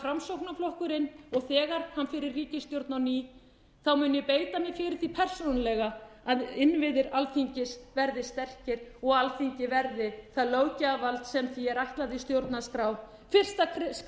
framsóknarflokkurinn og þegar hann fer í ríkisstjórn á ný mun ég beita mér fyrir því persónulega að innviðir alþingis verði sterkir og alþingi verði það löggjafarvald sem því er ætlað í stjórnarskrá fyrsta skrefið í